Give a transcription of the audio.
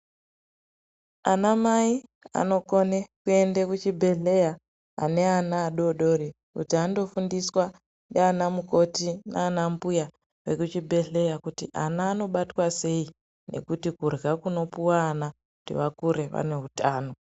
Amai anokone kuenda kuchibhedhleya ane ana vadodori kuti andofundiswa ndinamukoti nana mbuya vekuchibhedhleya kuti ana anobatwa sei nekuti kurya kunopuwa ana kuti vakure vane utano.